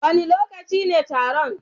Wane lokaci ne taron?